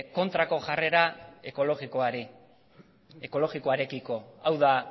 kontrako jarrera ekologikoari ekologikoarekiko hau da